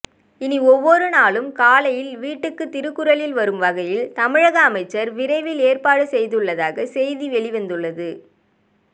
இனி ஒவ்வொரு நாளும் காலையில் வீட்டுக்கு திருக்குறளில் வரும் வகையில் தமிழக அமைச்சர் விரைவில் ஏற்பாடு செய்துள்ளதாக செய்தி வெளிவந்துள்ளது